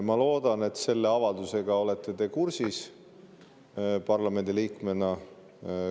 Ma loodan, et te selle avaldusega olete parlamendiliikmena kursis.